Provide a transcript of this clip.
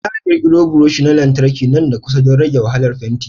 Za a ƙirƙiro buroshi na lantarki nan da kusa don rage wahalar fenti.